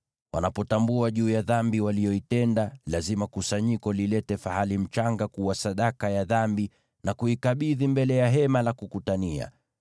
Wanapotambua kuhusu dhambi waliyoitenda, lazima kusanyiko lilete fahali mchanga kuwa sadaka ya dhambi na kuikabidhi mbele ya Hema la Kukutania.